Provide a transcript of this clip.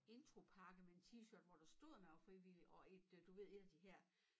Intropakke med en t-shirthvor der stod at man var frivillig og et øh du ved et af de her